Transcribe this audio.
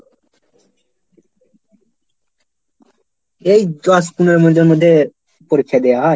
এই দশ পনেরো মিনিটের মধ্যে পরীক্ষা দেওয়া হয়?